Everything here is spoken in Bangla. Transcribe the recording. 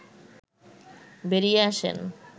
বেরিয়ে আসেন